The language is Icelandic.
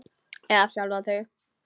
Eða sjálfan þig.